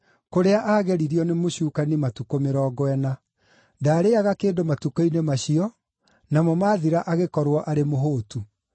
kũrĩa aagereirio nĩ mũcukani matukũ mĩrongo ĩna. Ndaarĩĩaga kĩndũ matukũ-inĩ macio, namo maathira agĩkorwo arĩ mũhũũtu.